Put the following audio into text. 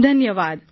ધન્યવાદ